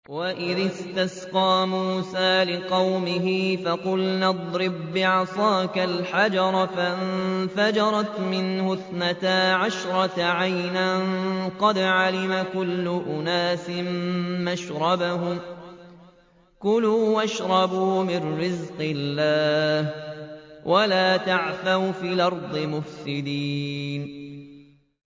۞ وَإِذِ اسْتَسْقَىٰ مُوسَىٰ لِقَوْمِهِ فَقُلْنَا اضْرِب بِّعَصَاكَ الْحَجَرَ ۖ فَانفَجَرَتْ مِنْهُ اثْنَتَا عَشْرَةَ عَيْنًا ۖ قَدْ عَلِمَ كُلُّ أُنَاسٍ مَّشْرَبَهُمْ ۖ كُلُوا وَاشْرَبُوا مِن رِّزْقِ اللَّهِ وَلَا تَعْثَوْا فِي الْأَرْضِ مُفْسِدِينَ